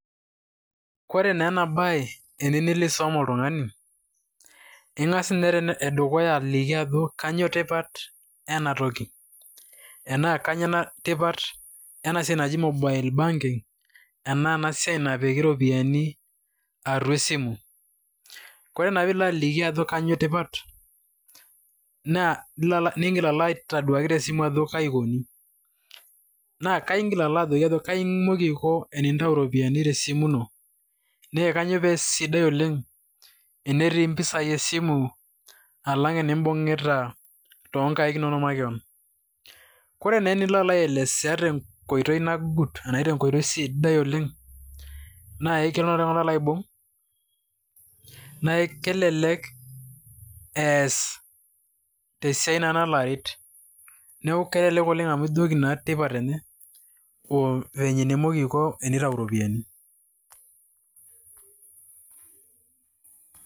kore naa ena bae teniyie niko aisom oltungani. ingas ninye ene dukuya aliki ajo kainyoo tipat ena toki, enaa kainyioo ena siai naji mobile banking enaa ena siai napiki iropiyiani atua esimu. kore naa pee ilo aliki ajo kainyioo tipat naa igil alo aitoduaki te simu ajo kaji ikoni. naa imoki aiko enintau iropiyiani te simu ino. naa kainyioo pee sidai oleng entii mpisai esimu alang' inibung'ita too nnkaik inonok makewon. ore naa enilo aelesea te nkoitoi nang'ut, anashu te nkoitoi sidai oleng. naa kelo oltungani aibung' naa kelelk eas na tesiai nalo aid. kelekek oleng amu iliki na eneiko tenitayu iropiyiani.